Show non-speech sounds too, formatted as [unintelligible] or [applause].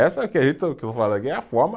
Essa [unintelligible] que eu vou falar aqui é a forma.